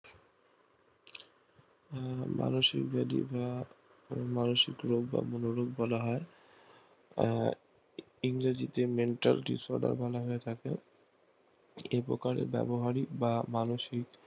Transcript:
মানসিক body না মানসিক রোগ বলা হয় আহ ইংরেজিতে mental disorder বলে থাকে এই প্রকারে ব্যাবহারিক বা মানসিক